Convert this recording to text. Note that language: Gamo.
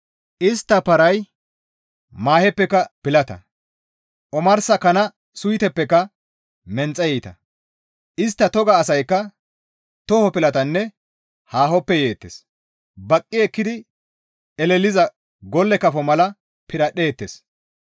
Istta paray maaheppeka pilata; omarsa kana suytetappeka menxe iita; istta toga asaykka too pilatanne haahoppe yizayta. Baqqi ekkidi eleliza golle kafo mala piradhdheettes.